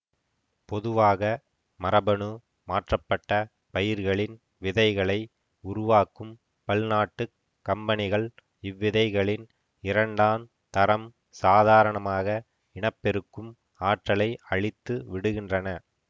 பொதுவாக மரபணு மாற்றப்பட்ட பயிர்களின் விதைகளை உருவாக்கும் பல்நாட்டுக் கம்பனிகள் இவ்விதைகளின் இரண்டாந் தரம் சாதாரணமாக இனப்பெருக்கும் ஆற்றலை அழித்து விடுகின்றன